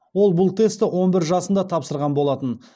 ол бұл тестті он бір жасында тапсырған болатын